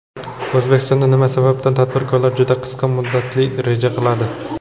O‘zbekistonda nima sababdan tadbirkorlar juda qisqa muddatli reja qiladi.